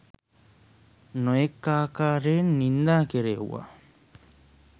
නොයෙක් ආකාරයෙන් නින්දා කෙරෙව්වා